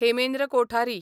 Hemendra Kothari